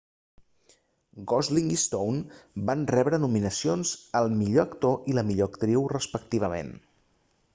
gosling i stone van rebre nominacions al millor actor i la millor actriu respectivament